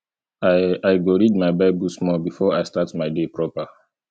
i i go read my bible small before i start my day proper